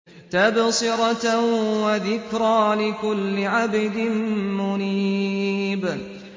تَبْصِرَةً وَذِكْرَىٰ لِكُلِّ عَبْدٍ مُّنِيبٍ